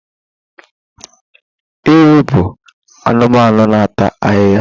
Ewi bụ anụmanụ na-ata ahịhịa.